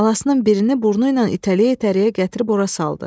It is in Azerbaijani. Balasının birini burnu ilə itələyə-itələyə gətirib ora saldı.